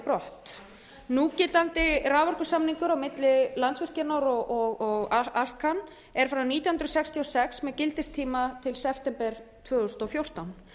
brott núgildandi raforkusamningur á milli landsvirkjunar og alcan er frá nítján hundruð sextíu og sex með gildistíma til september tvö þúsund og fjórtán